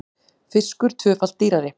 Fiskur tvöfalt dýrari